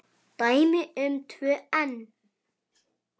Dæmi um tvö enn